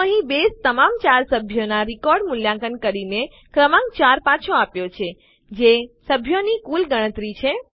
તો અહીં બેઝે તમામ ૪ સભ્યોનાં રેકોર્ડને મૂલ્યાંકન કરીને ક્રમાંક ૪ પાછો આપ્યો છે જે સભ્યોની કુલ ગણતરી છે